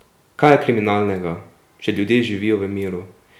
Kaj je kriminalnega, če ljudje živijo v miru?